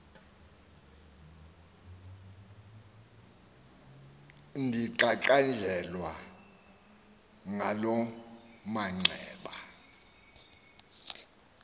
ndiqaqanjelwa ngaloo manxeba